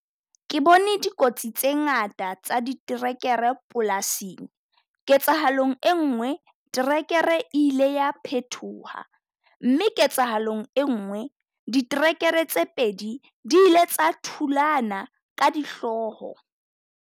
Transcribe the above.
Ke bone dikotsi tse ngata tsa diterekere polasing. Ketsahalong enngwe tracker-e e ile ya phethoha mme ketsahalong enngwe. Diterekere tse pedi, di ile tsa thulana ka dihlooho.